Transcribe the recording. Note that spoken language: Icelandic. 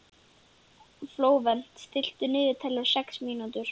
Flóvent, stilltu niðurteljara á sex mínútur.